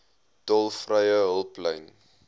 tolvrye hulplyn